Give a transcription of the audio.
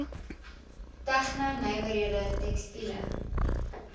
tegno nywerhede tekstiele